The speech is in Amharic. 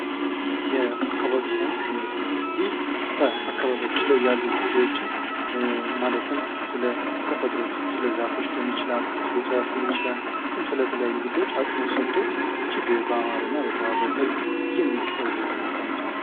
የአካባቢ ሳይንስ ትምህርት ይህ በአካባቢያችን ላይ ያሉ ጉዳዮች ማለትም ስለተፈጥሮ፣ ስለዛፎች ሊሆን ይችላል፤ ስለ እፅዋቶች ሊሆን ይችላል እንዲሁም ስለተለያዩ ጉዳዮች አጽኖት ሰጥቶ እጅግ በአማረና በተዋበ መልክ የሚቀርብ የትምህርት አይነት ነው።